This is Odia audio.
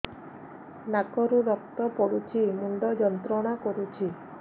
ନାକ ରୁ ରକ୍ତ ପଡ଼ୁଛି ମୁଣ୍ଡ ଯନ୍ତ୍ରଣା କରୁଛି